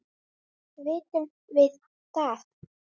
Vitum við það?